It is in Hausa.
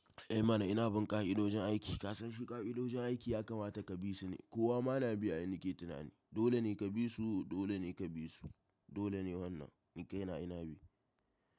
Eh mana ina binƙa ƙa'idojin aiki. Ka san shi ƙa'idojin aiki ya kamata ka bi su ne. Kowa ma na bi ai nake tunani. Dole ne ka bi su, dole ne ka bi su. Dole ne wannan ni kai na ina bi.